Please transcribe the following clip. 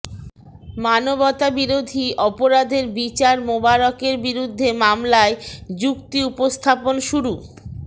মানবতাবিরোধী অপরাধের বিচার মোবারকের বিরুদ্ধে মামলায় যুক্তি উপস্থাপন শুরু